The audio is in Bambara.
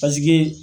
Paseke